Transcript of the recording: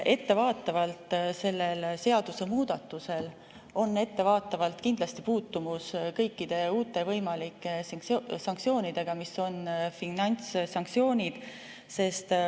Ettevaatavalt on sellel seadusemuudatusel kindlasti puutumus kõikide uute võimalike sanktsioonidega, mis on finantssanktsioonid.